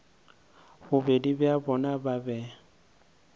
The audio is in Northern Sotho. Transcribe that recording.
bobedi bja bona ba be